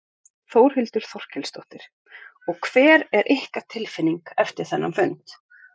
Þórhildur Þorkelsdóttir: Og hver er ykkar tilfinning eftir þennan fund?